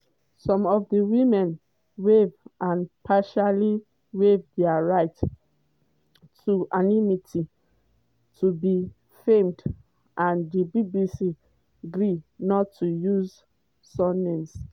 some of di women waive or partially waive dia right to anonymity to be filmed - and di bbc agree not to use surnames.